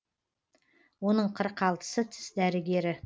оның қырық алтысы тіс дәрігері